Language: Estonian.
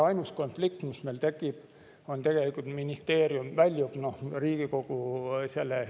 Ainus konflikt, mis meil tekib, on seotud ministeeriumiga.